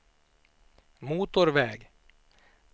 motorväg